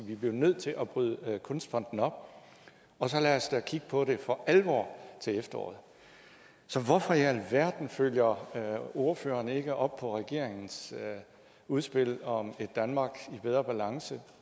vi bliver nødt til at bryde kunstfonden op og så lad os da kigge på det for alvor til efteråret så hvorfor i alverden følger ordføreren ikke op på regeringens udspil om et danmark i bedre balance